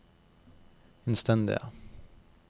innstendige